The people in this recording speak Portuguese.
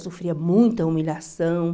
Sofria muita humilhação.